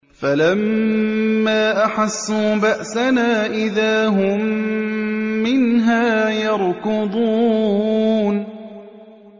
فَلَمَّا أَحَسُّوا بَأْسَنَا إِذَا هُم مِّنْهَا يَرْكُضُونَ